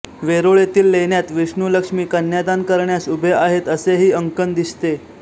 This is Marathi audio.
वेरूळ येथील लेण्यात विष्णू लक्ष्मी कन्यादान करण्यास उभे आहेत असेही अंकन दिसते